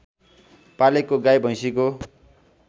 पालेको गाई भैँसीको